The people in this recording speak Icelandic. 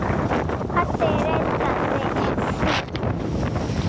Addi reddaði því.